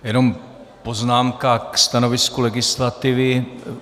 Jenom poznámka ke stanovisku legislativy.